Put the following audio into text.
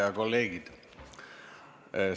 Head kolleegid!